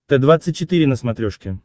т двадцать четыре на смотрешке